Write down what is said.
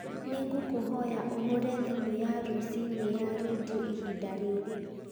nĩ ngũkũhoya ũhũre thimũ ya rũciinĩ ya rĩndiũ ihinda rĩrĩ